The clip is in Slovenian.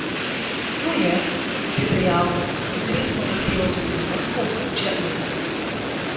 To je, kot je dejal, izrecno zahteval tudi na vrhu območja evra.